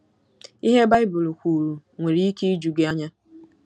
Ihe Baịbụl kwuru nwere ike iju gị anya.